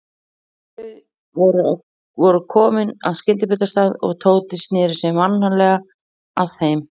Þau voru komin að skyndibitastað og Tóti sneri sér mannalega að þeim.